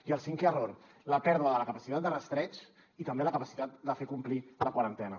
i el cinquè error la pèrdua de la capacitat de rastreig i també de la capacitat de fer complir la quarantena